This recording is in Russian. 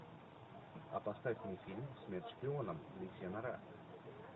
а поставь мне фильм смерть шпионам лисья нора